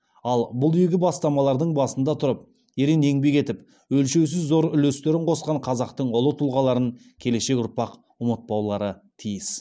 ал бұл игі бастамалардың басында тұрып ерен еңбек етіп өлшеусіз зор үлестерін қосқан қазақтың ұлы тұлғаларын келешек ұрпақ ұмытпаулары тиіс